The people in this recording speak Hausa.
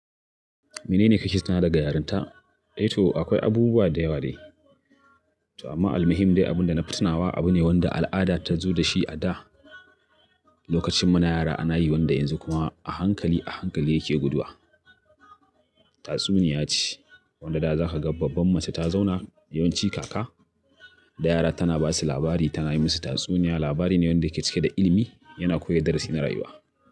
Menene kake tunawa daga yarinta? Eh to akwai abubuwa da yawa dai, amma almuhim dai abunda na fi tinawa abu ne wanda al'ada ta zo dashi a da. Lokacin muna yara ana yi wanda yanzu kuma a hankali a hankali yake guduwa. Tatsuniya ce wanda za ka ga babban mace ta zauna yawanci kaka da yara tana basu labari tana yi musu tatsuniya. Labari ne wanda yake cike da ilimi yana koya darasi na rayuwa.